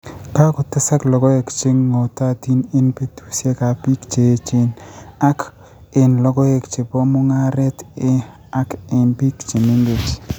Kagotesak logoek che ng'ootaatiin eng' peetuusyegap piik che eecheen, ak eng' logoek che po mung'aaret ,ak eng' piik che mengeechen